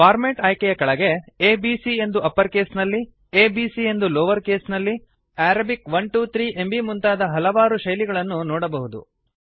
format ಆಯ್ಕೆಯ ಕೆಳಗೆ A B C ಎಂದು ಅಪ್ಪರ್ ಕೇಸ್ನಲ್ಲಿ a b c ಎಂದು ಲೋವರ್ ಕೆಸ್ ನಲ್ಲಿ ಅರಬಿಕ್ 1 2 3 ಎಂಬೀ ಮುಂತಾದ ಹಲವಾರು ಶೈಲಿ ಗಳನ್ನು ನೊಡಬಹುದು